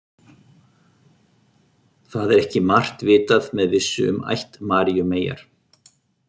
Það er ekki margt vitað með vissu um ætt Maríu meyjar.